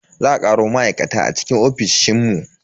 Za a karo ma'aikata cikin ofishin mu.